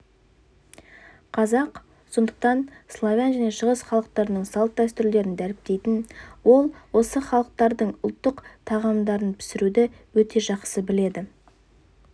қазақ сондықтанславян және шығыс халықтарының салт-дәстүрлерін дәріптейтін ол осы халықтардың ұлттық тағамдарынпісіруді өте жақсы біледі